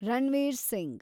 Ranveer Singh